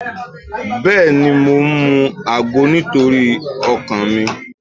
Bẹ́ẹ̀ni, mo ń mu àgbo nítorí ọkàn mi.